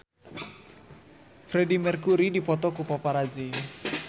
Freedie Mercury dipoto ku paparazi